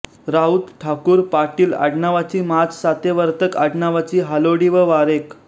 राऊत ठाकूर पाटील आडनावाची माच सावेवर्तक आडनावाची हालोडी व वारेख